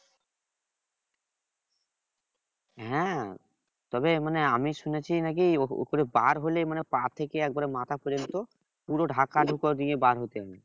হ্যাঁ তবে মানে আমি শুনেছি নাকি ওপরে বার হলে মানে পা থেকে একেবারে মাথা পর্যন্ত পুরোটা ঢাকা ঢুকো দিয়ে বার হতে হয়